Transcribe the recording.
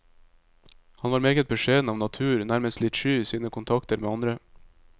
Han var meget beskjeden av natur, nærmest litt sky i sine kontakter med andre.